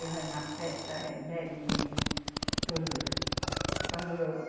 Vai na festa eh, bebe tudo. Quando